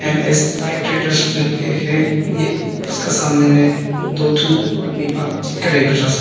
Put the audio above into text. M S tie traders लिखके है ये उसका सामने में दो ठू आदमी बातचीत कर रहे एक दूसरा से--